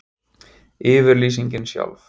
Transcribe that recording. Yfirlýsingin sjálf.